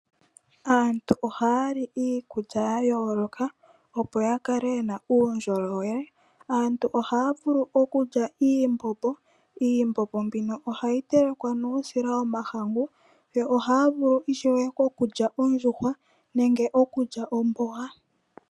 Aantu ohaya li iikulya yayooloka opo yakale yena uundjolowele antu ohaa vulu okulya iimbombo, iimbombo mbino ohayi telekwa nuusila womahangu yo ohaavulu ishewe okulya ondjuhwa nenge okulya omboga.